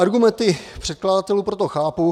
Argumenty předkladatelů proto chápu.